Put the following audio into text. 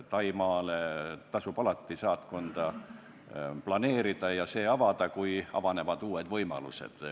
Taimaale tasub alati saatkonda planeerida ja see avada, kui avanevad uued võimalused.